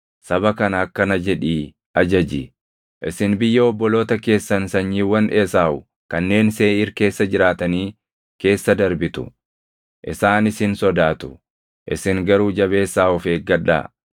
Saba kana akkana jedhii ajaji: ‘Isin biyya obboloota keessan sanyiiwwan Esaawu kanneen Seeʼiir keessa jiraatanii keessa darbitu. Isaan isin sodaatu; isin garuu jabeessaa of eeggadhaa.